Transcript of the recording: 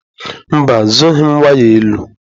Mba zụghị m waya elu.